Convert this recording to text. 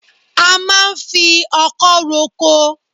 A máa ń fi ọkọ roko